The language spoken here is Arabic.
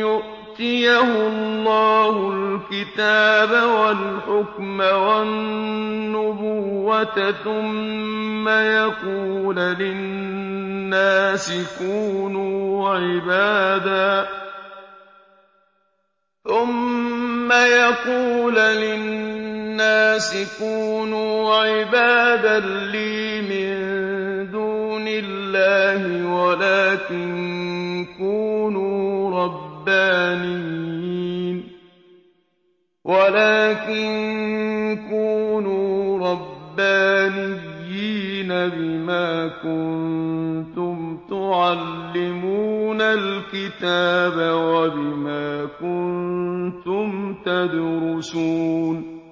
يُؤْتِيَهُ اللَّهُ الْكِتَابَ وَالْحُكْمَ وَالنُّبُوَّةَ ثُمَّ يَقُولَ لِلنَّاسِ كُونُوا عِبَادًا لِّي مِن دُونِ اللَّهِ وَلَٰكِن كُونُوا رَبَّانِيِّينَ بِمَا كُنتُمْ تُعَلِّمُونَ الْكِتَابَ وَبِمَا كُنتُمْ تَدْرُسُونَ